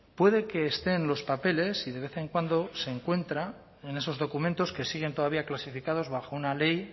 puede que esté en los papeles y de vez en cuando se encuentra en esos documentos que siguen todavía clasificados bajo una ley